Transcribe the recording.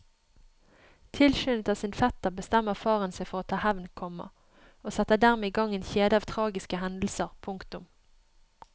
Tilskyndet av sin fetter bestemmer faren seg for å ta hevn, komma og setter dermed i gang en kjede av tragiske hendelser. punktum